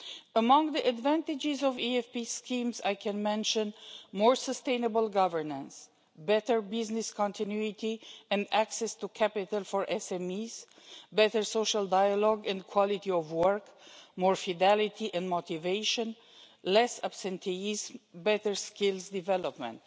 Among the advantages of EFP schemes, I can mention more sustainable governance, better business continuity and access to capital for SMEs, better social dialogue and quality of work, more fidelity and motivation, less absenteeism and better skills development.